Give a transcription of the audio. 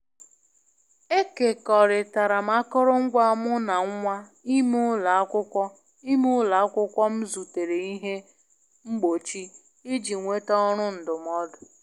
Ekekọrịtara m akụrụngwa mu na nwa ime ulọ akwukwọ ime ulọ akwukwọ m zutere ihe mgbochi iji nweta ọrụ ndụmọdụ.